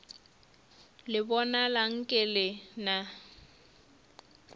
le bonala nke le na